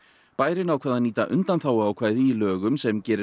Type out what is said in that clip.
bærinn ákvað að nýta undanþáguákvæði í lögum sem gerir